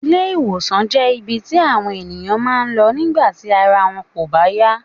Ilé- ìwòsàn jé ibi tí àwọn ènìyàn máa ń lọ nígbà tí ara wọn kò bá yá